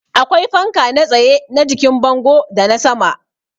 Akwai fanka na tsaye, na jikin bango da na sama